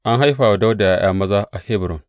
An haifa wa Dawuda ’ya’ya maza a Hebron.